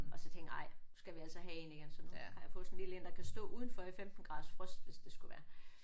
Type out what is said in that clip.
Og så tænkte jeg nej nu skal vi altså have en igen. Så nu har jeg fået sådan en lille en der kan stå udenfor i 15 graders frost hvis det skulle være